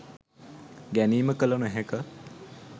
ගැනීම කළ නොහැක